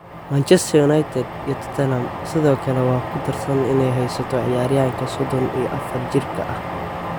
Manchester United iyo Tottenham sidoo kale waa ku dardaaran inay haysato ciyaaryahanka sodon iyo afar jirka ah.